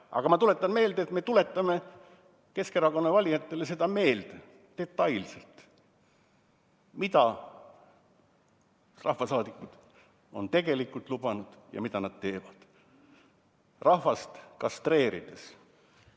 Aga me tuletame Keskerakonna valijatele seda detailselt meelde, mida rahvasaadikud on tegelikult lubanud ja mida nad teevad rahvast kastreerides.